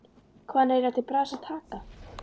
Hvað á hann eiginlega til bragðs að taka?